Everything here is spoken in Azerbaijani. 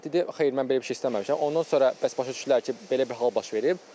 Dedi, xeyr, mən belə bir şey istəməmişəm, ondan sonra bəs başa düşdülər ki, belə bir hal baş verib.